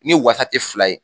Ni wasa tɛ fila ye